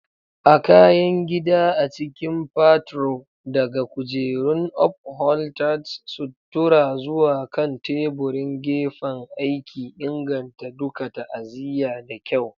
A kayan gida a cikin partror, daga kujerun upholretered suttura zuwa kan teburin gefen aiki, inganta duka ta'aziyya da kyau.